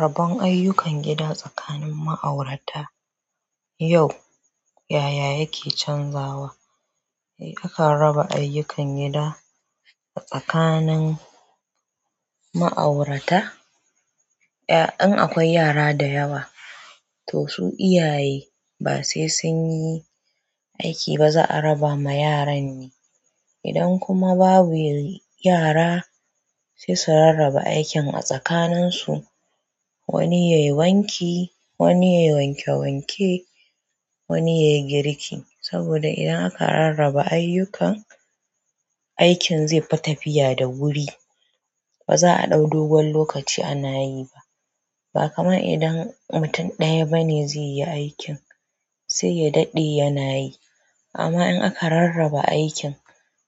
Rabon ayyukan gida tsakanin ma'aurata, yau yaya yake canzawa? Eh akan raba ayyukan gida tsakanin ma'aurata? Eh, in akwai yara da yawa to su iyaye ba sai sun yi aiki ba za a raba ma yaran ne. Idan kuma babu yara sai su rarraba aikin a tsakanin su wani ya yi wanki, wani ya yi wanke wanke, wani ya yi girki. Saboda idan aka rarraba ayyukan, aikin zai fi tafiya da wuri ba za a ɗau dogon lokaci ana yi ba. Bakaman idan mutum ɗaya bane zai yi aikin sai ya daɗe yanayi amma in aka rarraba aikin